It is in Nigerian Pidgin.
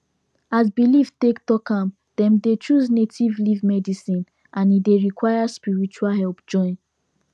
as belief take talk am dem dey choose native leaf medicine and e dey require spiritual help join